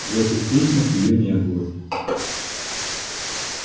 в этих письмах её не было